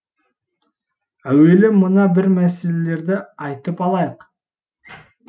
әуелі мына бір мәселелерді айтып алайық